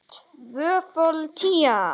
Tvöföld tía.